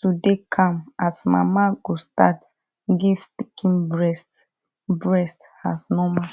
to dey calm as mama go start give pikin breast breast as normal